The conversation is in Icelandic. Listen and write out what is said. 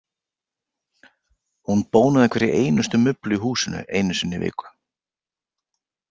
Hún bónaði hverja einustu mublu í húsin einu sinni í viku.